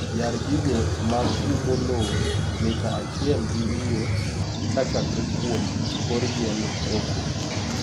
Yar gigo mag umo low mita achiel gi wiyo kachakre kwuom kor yiend cocoa.